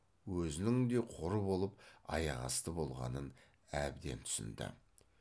өзінің де қор болып аяқасты болғанын әбден түсінді